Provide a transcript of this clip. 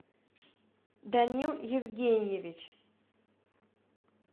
данил евгеньевич